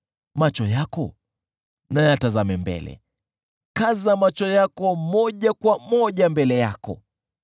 Macho yako na yatazame mbele, kaza macho yako moja kwa moja mbele yako.